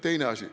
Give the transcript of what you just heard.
Teine asi.